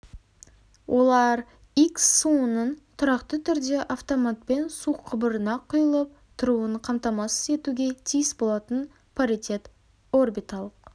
олар икс суының тұрақты түрде автоматпен су құбырына құйылып тұруын қамтамасыз етуге тиіс болатын паритет орбиталық